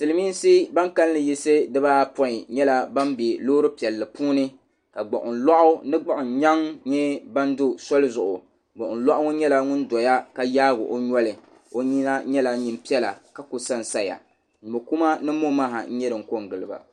Silmiinsi ban kalinli yaɣisi di baa apɔin nyɛla ban bɛ loori piɛlli puuni ka gbuɣin lɔɣu mini gbuɣin nyaŋ nyɛ ban do soli zuɣu gbuɣin lɔɣu ŋɔ nyɛla ŋun doya ka yaagi o noli o nyina nyɛla nyin piɛla ka ka san saya ka mɔkuma ni mɔmaha n nyɛ din ko n giliba.